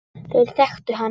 Þeir þekktu til hans.